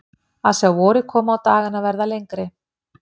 Að sjá vorið koma og dagana verða lengri.